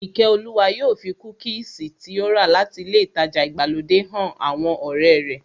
Ìkẹ́olúwa yóò fi kúkìsì tí ó rà láti ilé ìtajà ìgbàlódé han àwọn ọ̀rẹ́ rẹ̀